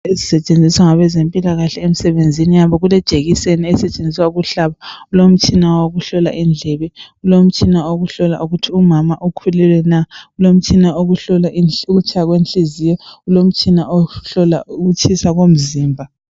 Ezisetshenziswa ngabezempilakahle emsebenzini yabo. Kulejekiseni esetshenziswa ukuhlaba, kulomtshina okuhlola indlebe. Kulomtshina okuhlola ukuthi umama ukhulelwe na? Kulomtshina okuhlola ukutshaya kwehliziyo. Kulomtshina okuhlola ukutshisa komzimba.